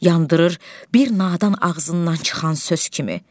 Yandırır bir nadan ağzından çıxan söz kimi.